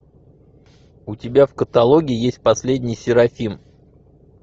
у тебя в каталоге есть последний серафим